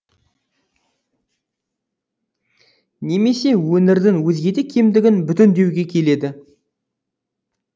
немесе өңірдің өзге де кемдігін бүтіндеуге келеді